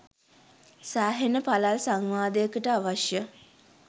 සෑහෙන පළල් සංවාදයකට අවශ්‍ය